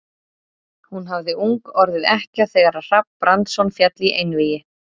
Hún hafði ung orðið ekkja þegar Hrafn Brandsson féll í einvígi.